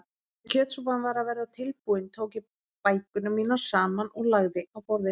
Þegar kjötsúpan var að verða tilbúin tók ég bækurnar mínar saman og lagði á borðið.